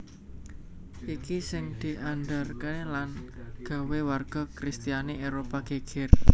Iki sing diandharake lan gawé warga kristiani Éropah geger